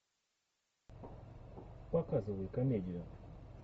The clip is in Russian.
показывай комедию